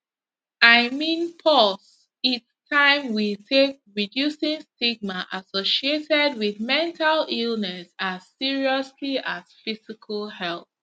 i mean pause its taim we take reducing stigma associated wit mental illness as seriously as physical health